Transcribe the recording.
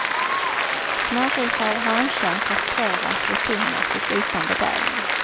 Smågrisar av hankön kastreras rutinmässigt utan bedövning.